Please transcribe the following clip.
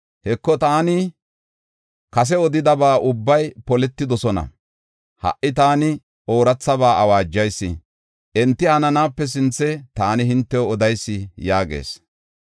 Heko taani kase odidaba ubbay poletidosona; ha77i taani oorathaba awaajayis; enti hananaape sinthe taani hintew odayis” yaagees.